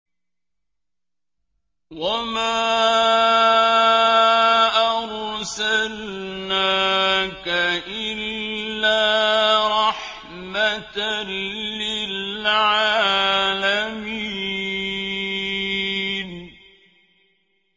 وَمَا أَرْسَلْنَاكَ إِلَّا رَحْمَةً لِّلْعَالَمِينَ